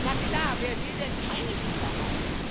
Na klar, wer will denn keine Sicherheit?